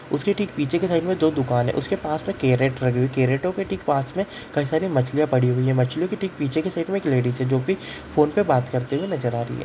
उस के ठीक पीछे की साइड में दो दुकान है उसके पास में कैरट रखी हुई है कैरटों के ठीक पास में कई सारी मछलियां पड़ी हुई है मछलियों के ठीक पीछे की साइड में एक लेडीज़ है जोकि फ़ोन पे बात करते हुए नजर आ रही है।